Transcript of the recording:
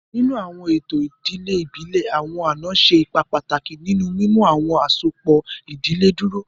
Ninu awọn eto idile ibile, awọn ana ṣe ipa pataki ninu mimu awọn asopọ idile duro.